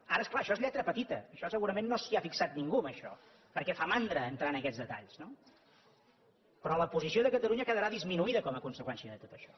ara és clar això és lletra petita en això segurament no s’hi ha fixat ningú en això perquè fa mandra entrar en aquests detalls no però la posició de catalunya quedarà disminuïda com a conseqüència de tot això